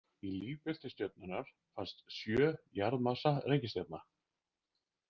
Í lífbelti stjörnunnar fannst sjö jarðmassa reikistjarna.